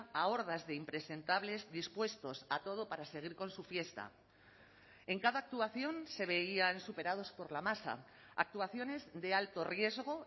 a hordas de impresentables dispuestos a todo para seguir con su fiesta en cada actuación se veían superados por la masa actuaciones de alto riesgo